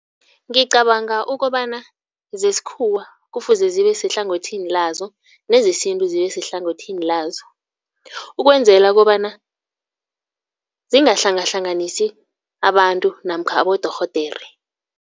Ngicabanga ukobana zesikhuwa kufuze zibe sehlangothini lazo nezesintu zibe sehlangothini lazo. Ukwenzela kobana zingahlangahlanganisi abantu namkha abodorhodere.